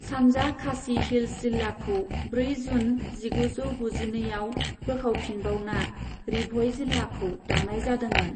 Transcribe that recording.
सानजा खासी हिल्स जिल्लाखौ ब्रै जून जिगुजौ गुजिनैआव बोखावफिनबावना री भ'ई जिल्लाखौ दानाय जादोंमोन।